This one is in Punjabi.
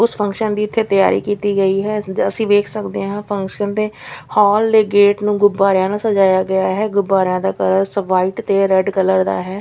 ਉਸ ਫੰਕਸ਼ਨ ਦੀ ਇੱਥੇ ਤਿਆਰੀ ਕੀਤੀ ਗਈ ਹੈ ਜੋ ਅਸੀਂ ਵੇਖ ਸਕਦੇ ਹਾਂ ਫੰਕਸ਼ਨ ਦੇ ਹਾਲ ਦੇ ਗੇਟ ਨੂੰ ਗੁਬਾਰਿਆਂ ਨਾਲ ਸਜਾਇਆ ਗਿਆ ਹੈ ਗੁਬਾਰਿਆਂ ਦਾ ਕਲਰਸ ਵ੍ਹਾਈਟ ਤੇ ਰੇਡ ਕਲਰ ਦਾ ਹੈ।